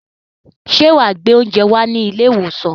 Ṣé wà á gbé oúnjẹ wá sí ilé-ìwòsàn?